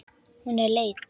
Hún er leið.